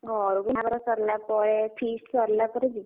ଘରକୁ ବାହାଘର ସରିଲାପରେ feast ସରିଲାପରେ ଯିବି।